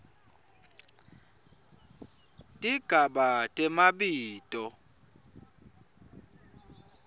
tigaba temabito